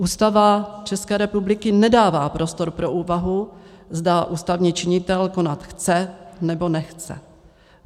Ústava České republiky nedává prostor pro úvahu, zda ústavní činitel konat chce, nebo nechce.